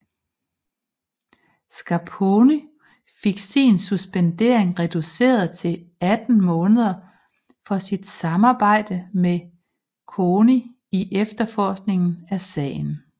Scarponi fik sin suspendering reduceret til 18 måneder for sit samarbejde med CONI i efterforskningen af sagen